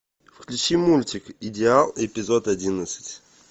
включи мультик идеал эпизод одиннадцать